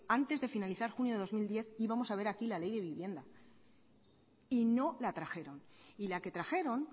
antes de finalizar junio de dos mil diez íbamos a ver aquí la ley de vivienda y no la trajeron y la que trajeron